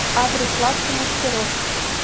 адрес лавка мастеров